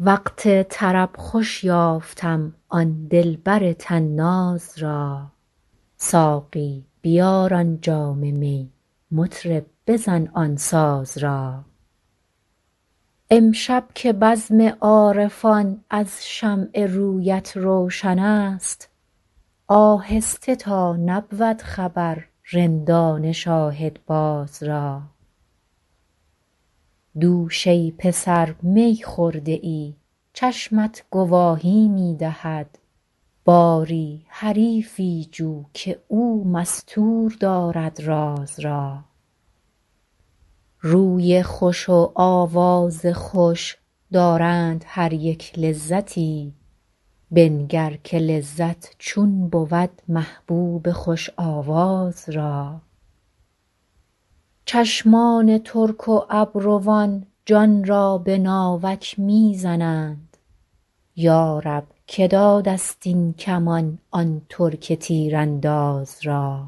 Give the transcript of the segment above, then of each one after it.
وقت طرب خوش یافتم آن دلبر طناز را ساقی بیار آن جام می مطرب بزن آن ساز را امشب که بزم عارفان از شمع رویت روشن است آهسته تا نبود خبر رندان شاهدباز را دوش ای پسر می خورده ای چشمت گواهی می دهد باری حریفی جو که او مستور دارد راز را روی خوش و آواز خوش دارند هر یک لذتی بنگر که لذت چون بود محبوب خوش آواز را چشمان ترک و ابروان جان را به ناوک می زنند یا رب که داده ست این کمان آن ترک تیرانداز را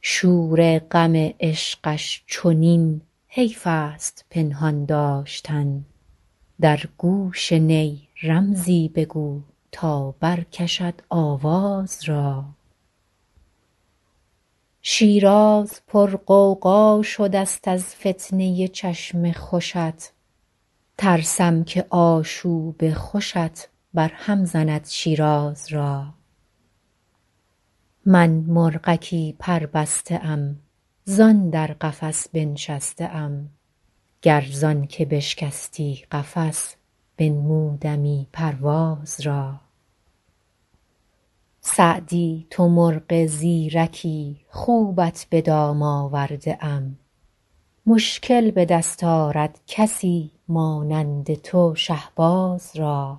شور غم عشقش چنین حیف است پنهان داشتن در گوش نی رمزی بگو تا برکشد آواز را شیراز پرغوغا شده ست از فتنه ی چشم خوشت ترسم که آشوب خوشت برهم زند شیراز را من مرغکی پربسته ام زان در قفس بنشسته ام گر زان که بشکستی قفس بنمودمی پرواز را سعدی تو مرغ زیرکی خوبت به دام آورده ام مشکل به دست آرد کسی مانند تو شهباز را